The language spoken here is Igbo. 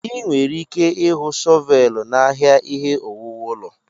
Ị nwere ike ịhụ shọvelu n'ahịa ihe owuwu ụlọ.